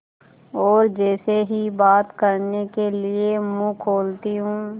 और जैसे ही बात करने के लिए मुँह खोलती हूँ